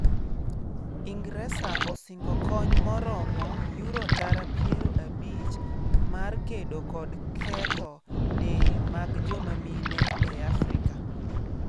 Ingresa osingo kony maromo Yuro tara piero abich mar kedo kod ketho del mag joma mine e Afrika